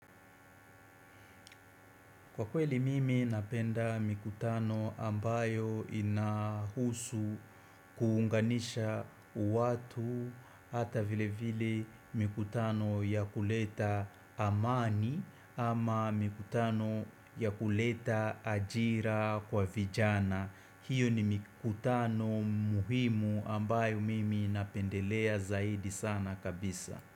Kwa kweli mimi napenda mikutano ambayo inahusu kuunganisha u watu hata vile vile mikutano ya kuleta amani ama mikutano ya kuleta ajira kwa vijana hiyo ni mikutano muhimu ambayo mimi napendelea zaidi sana kabisa.